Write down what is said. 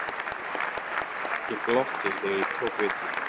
Ég glotti þegar ég tók við því.